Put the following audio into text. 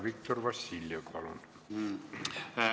Viktor Vassiljev, palun!